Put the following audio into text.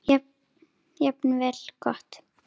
Jafnvel gott.